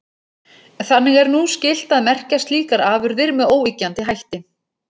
Þannig er nú skylt að merkja slíkar afurðir með óyggjandi hætti.